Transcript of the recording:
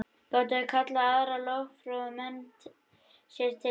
Gátu þeir kallað aðra lögfróða menn sér til fulltingis.